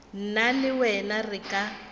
nna le wena re ka